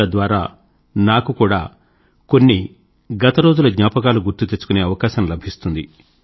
తద్వారా నాకు కూడా కొన్ని గతరోజుల జ్ఞాపకాలు గుర్తుకుతెచ్చుకునే అవకాశం లభిస్తుంది